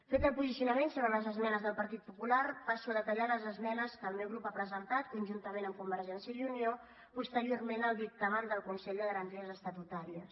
fet el posicionament sobre les esmenes del partit popular passo a detallar les esmenes que el meu grup ha presentat conjuntament amb convergència i unió posteriorment al dictamen del consell de garanties estatutàries